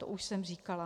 To už jsem říkala.